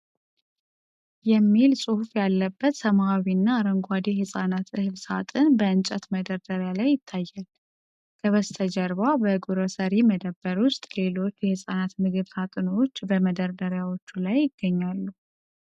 "ENRICH Mama's Choice Infant Cereal Multi Cereals" የሚል ጽሑፍ ያለበት ሰማያዊና አረንጓዴ የሕፃናት እህል ሳጥን በእንጨት መደርደሪያ ላይ ይታያል። ከበስተጀርባ በግሮሰሪ መደብር ውስጥ ሌሎች የሕፃናት ምግብ ሳጥኖች በመደርደሪያዎች ላይ ይገኛሉ።